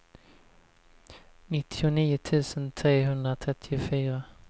nittionio tusen trehundratrettiofyra